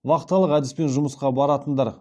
вахталық әдіспен жұмысқа баратындар